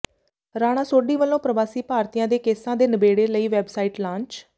ਰਾਣਾ ਸੋਢੀ ਵੱਲੋਂ ਪਰਵਾਸੀ ਭਾਰਤੀਆਂ ਦੇ ਕੇਸਾਂ ਦੇ ਨਿਬੇੜੇ ਲਈ ਵੈੱਬਸਾਈਟ ਲਾਂਚ